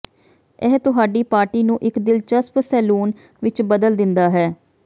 ਇਹ ਤੁਹਾਡੀ ਪਾਰਟੀ ਨੂੰ ਇੱਕ ਦਿਲਚਸਪ ਸੈਲੋਨ ਵਿੱਚ ਬਦਲ ਦਿੰਦਾ ਹੈ